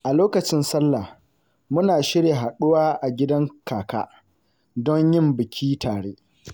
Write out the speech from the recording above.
A lokacin Sallah; muna shirya haɗuwa a gidan kaka don yin biki tare.